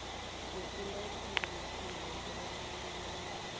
yokuletha ngenarheni yokwelatjhwa